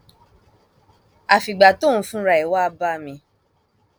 àfìgbà tóun fúnra ẹ wàá bá mi